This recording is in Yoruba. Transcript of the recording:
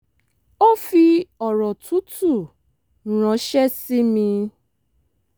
ó fi ọ̀rọ̀ tútù ránṣẹ́ sí mi